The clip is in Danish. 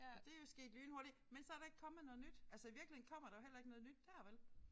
Og det jo sket lynhurtigt men så der ikke kommet noget nyt altså i virkeligheden kommer der jo heller ikke noget nyt dér vel